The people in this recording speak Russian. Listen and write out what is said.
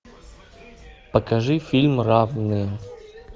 покажи фильм равные